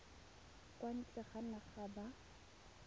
kwa ntle ga naga ba